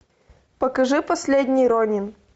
покажи последний ронин